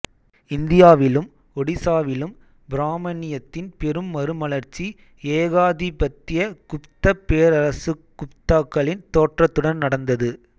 இந்தியாவிலும் ஒடிசாவிலும் பிராமணியத்தின் பெரும் மறுமலர்ச்சி ஏகாதிபத்திய குப்தப் பேரரசுகுப்தாக்களின் தோற்றத்துடன் நடந்தது